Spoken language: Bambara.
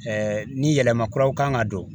ni yɛlɛma kuraw kan ka don